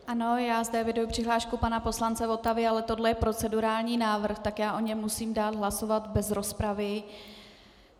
Ano, já zde eviduji přihlášku pana poslance Votavy, ale tohle je procedurální návrh, tak já o něm musím dát hlasovat bez rozpravy.